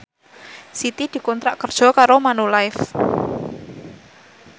Siti dikontrak kerja karo Manulife